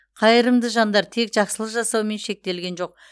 қайырымды жандар тек жақсылық жасаумен шектелген жоқ